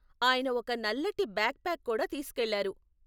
ఆయన ఒక నల్లటి బ్యాక్ ప్యాక్ కూడా తీసుకెళ్లారు.